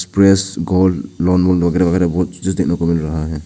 Press gold loan वोन वगैरा वगैरा लोगों को जल्दी मिल रहा है।